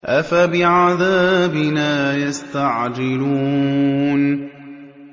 أَفَبِعَذَابِنَا يَسْتَعْجِلُونَ